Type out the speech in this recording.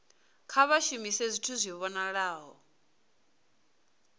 kha vha shumise zwithu zwi vhonalaho